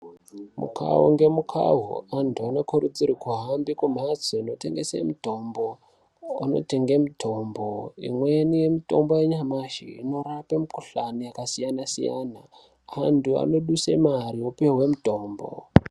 Mukawu ngemukawu antu anokurudzirwa kuhambe kumhatso inotengese mitombo kwavanotenge mitombo. Imweni yemitombo yanyamashi inorape mukuhlani yakasiyana siyana. Vantu vanoduse mari vopihwa mitombo.